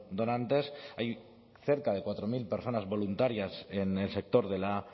donantes hay cerca de cuatro mil personas voluntarias en el sector de la